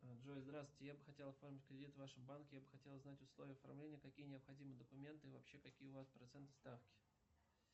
джой здравствуйте я бы хотел оформить кредит в вашем банке я бы хотел узнать условия оформления какие необходимы документы и вообще какие у вас процентные ставки